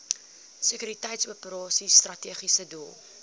sekuriteitsoperasies strategiese doel